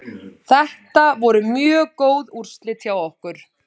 Þetta voru mjög góð úrslit hjá okkur.